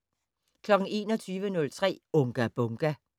21:03: Unga Bunga!